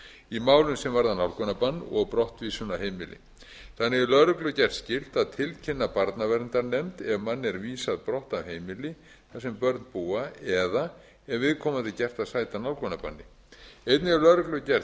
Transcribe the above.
í málum sem varða nálgunarbann og brottvísun af heimili þannig er lögreglu gert skylt að tilkynna barnaverndarnefnd ef manni er vísað brott af heimili þar sem börn búa eða ef viðkomandi er gert að sæta nálgunarbanni einnig er lögreglu gert